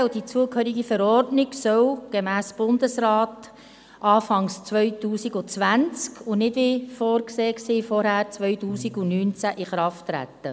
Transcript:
Das KRG und die zugehörige Verordnung sollen gemäss Bundesrat Anfang 2020 und nicht, wie zuvor vorgesehen 2019, in Kraft treten.